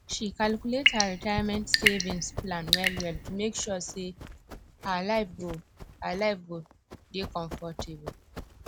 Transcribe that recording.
she calculate her retirement savings plans well well to make sure sey her life go her life go dey comfortable